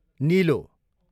निलो